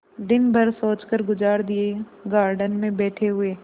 दिन भर सोचकर गुजार दिएगार्डन में बैठे हुए